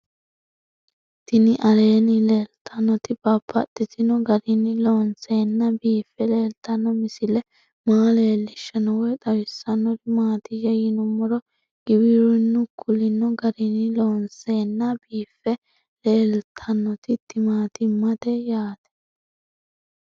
Tinni aleenni leelittannotti babaxxittinno garinni loonseenna biiffe leelittanno misile maa leelishshanno woy xawisannori maattiya yinummoro giwirinnu kulinno garinni loonseenna biiffe leelittannotti timaattimmette yaatte